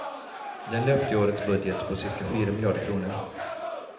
Den löpte i årets budget på cirka fyra miljarder kronor.